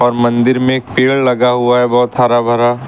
मंदिर में एक पेड़ लगा हुआ है बहोत हरा भरा।